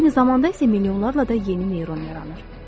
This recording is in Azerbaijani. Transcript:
Eyni zamanda isə milyonlarla da yeni neyron yaranır.